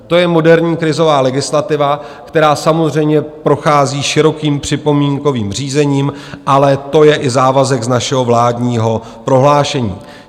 To je moderní krizová legislativa, která samozřejmě prochází širokým připomínkovým řízením, ale je to i závazek z našeho vládního prohlášení.